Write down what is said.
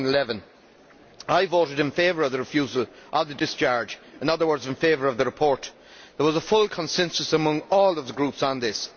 2011. I voted in favour of the refusal of the discharge, in other words in favour of the report. There was a full consensus among all of the groups on this.